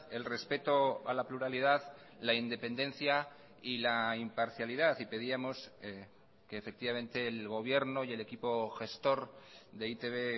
el respeto a la pluralidad la independencia y la imparcialidad y pedíamos que efectivamente el gobierno y el equipo gestor de e i te be